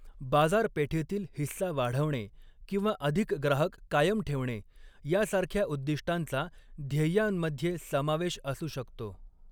बाजारपेठेतील हिस्सा वाढवणे किंवा अधिक ग्राहक कायम ठेवणे यासारख्या उद्दिष्टांचा ध्येयांमध्ये समावेश असू शकतो.